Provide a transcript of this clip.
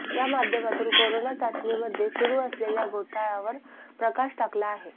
या माध्यमातून करोना चाचणीमध्ये सुरू असलेल्या घोळावर प्रकाश टाकला आहे